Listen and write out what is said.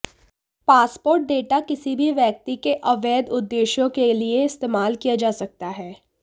passport data किसी भी व्यक्ति के अवैध उद्देश्यों के लिए इस्तेमाल किया जा सकता है